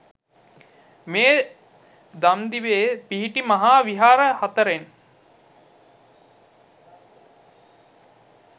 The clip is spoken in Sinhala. මේ දම්දිවේ පිහිටි මහා විහාර හතරෙන්